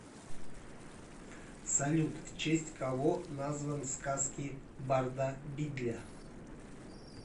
салют в честь кого назван сказки барда бидля